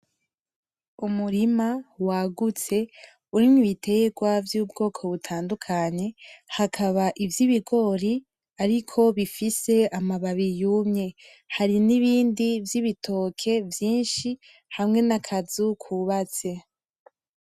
Umurima wagutse urimwo ibiterwa vy'ubwoko butandukanye, hakaba ivy'ibigori ariko bifise amabi yumye, hari n'ibindi vy'ibitoke vyinshi hamwe n'akazu kubatse.